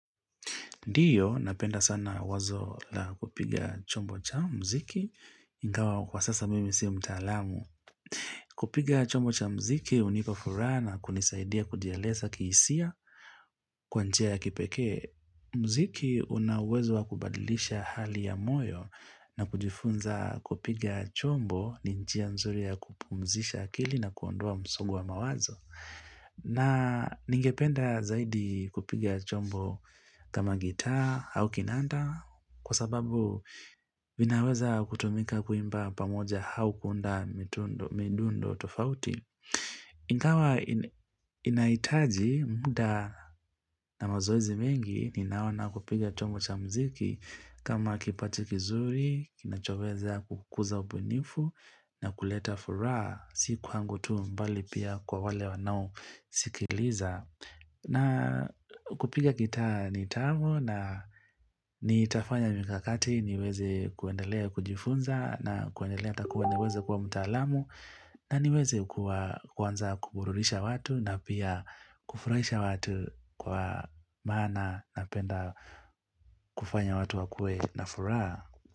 Ndio, napenda sana wazo la kupiga chombo cha mziki, ingawa kwa sasa mimi si mtaalamu. Kupiga chombo cha mziki hunipa furaha na kunisaidia kujieleza kisia, kwa njia ya kipekee. Mziki una uwezo wa kubadilisha hali ya moyo na kujifunza kupiga chombo ni njia mzuri ya kupumzisha akili na kuondoa msongo wa mawazo. Na ningependa zaidi kupiga chombo kama gitaa au kinanda kwa sababu vinaweza kutumika kuimba pamoja au kuunda midundo tofauti. Ingawa inahitaji muda na mazoezi mingi ninaona kupiga chombo cha mziki kama kipati kizuri, kinachoweza kukuza ubunifu na kuleta furaha Si kwangu tu bali pia kwa wale wanaosikiliza na kupiga gitaa ni tamu na nitafanya mikakati niweze kuendelea kujifunza na kuendelea ata kuwa niweze kwa mtaalamu na niweze kwanza kuburudisha watu na pia kufurahisha watu kwa maana napenda kufanya watu wakue na furaha.